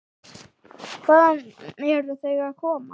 Hvaðan eru þau að koma?